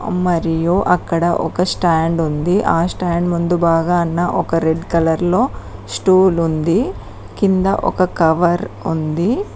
మరియు అక్కడ ఒక స్టాండ్ ఉంది ఆ స్టాండ్ ముందు బాగానా ఒక రెడ్ కలర్ లో స్టూల్ ఉంది కింద ఒక కవర్ ఉంది.